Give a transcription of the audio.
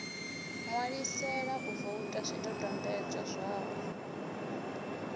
ṋwalisela u voutha zwidodombodzwa zwawe